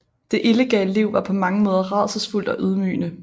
Det illegale liv var på mange måder rædselsfuldt og ydmygende